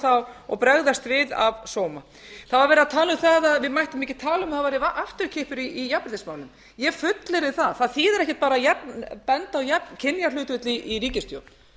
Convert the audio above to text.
þá og bregðast við af sóma það var verið að tala um það að við mættum ekki tala um að það væri afturkippur í jafnréttismálum ég fullyrði það það þýðir ekki bara að benda á kynjahlutföll í ríkisstjórn